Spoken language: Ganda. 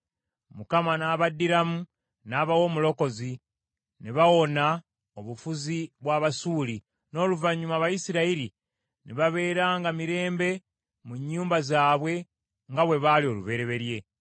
Mukama n’abaddiramu n’abawa omulokozi, ne bawona obufuzi bw’Abasuuli, n’oluvannyuma Abayisirayiri ne babeeranga mirembe mu nnyumba zaabwe nga bwe baali olubereberye.